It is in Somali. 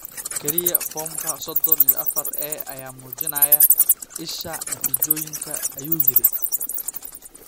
Kaliya foomka soshon iyo afaar A ayaa muujinaya isha natiijooyinka," ayuu yidhi.